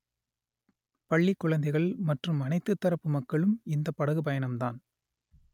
பள்ளி குழந்தைகள் மற்றும் அனைத்து தரப்பு மக்களும் இந்த படகு பயணம்தான்